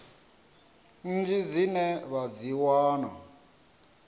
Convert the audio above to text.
nnyi dzine vha dzi wana